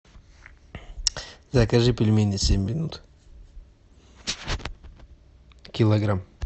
закажи пельмени семь минут килограмм